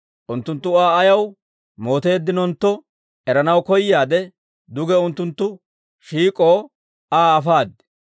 Unttunttu Aa ayaw mooteeddinontto eranaw koyaade, duge unttunttu shiik'oo Aa afaad.